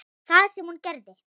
Það sem hún gerði